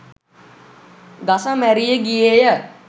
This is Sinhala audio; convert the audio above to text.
ගස මැරී ගියේය.